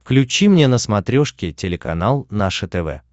включи мне на смотрешке телеканал наше тв